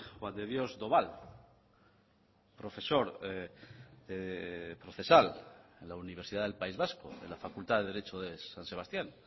juan de dios doval profesor procesal en la universidad del país vasco de la facultad de derecho de san sebastián